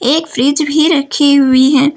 एक फ्रिज भी रखी हुई है।